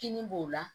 Kini b'o la